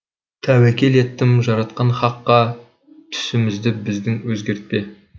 тәуекел еттім жаратқан хаққа түсімізді біздің өзгертпе